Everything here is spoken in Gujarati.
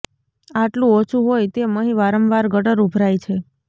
આટલું ઓછું હોય તેમ અહીં વારંવાર ગટર ઉભરાઈ છે